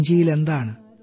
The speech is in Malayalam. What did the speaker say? സഞ്ചിയിൽ എന്താണ്